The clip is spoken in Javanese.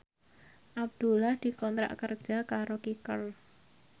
Abdullah dikontrak kerja karo Kicker